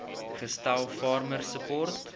gestel farmer support